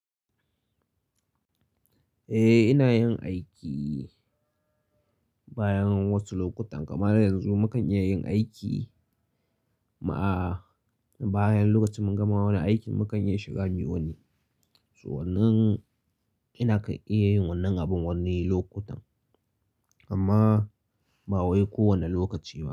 Eh, ina yin aiki bayan wata lokuta, kamar yanzu mu kan iya yin aiki ma bayan lokacin mun gama wani aikin mu kan iya shiga miyoni. So wannan ina iya yin wannan abin wannan lokutan amma ba wai kowane lokaci ba.